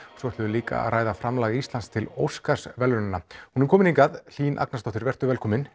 svo ætlum við líka að ræða framlaga Íslands til Óskarsverðlaunanna hún er komin hingað Hlín Agnarsdóttir vertu velkomin